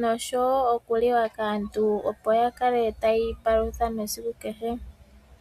nosho wo okuliwa kaantu opo ya kale tayi ipalutha mesiku kehe.